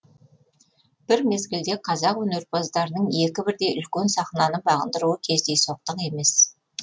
бір мезгілде қазақ өнерпаздарының екі бірдей үлкен сахнаны бағындыруы кездейсоқтық емес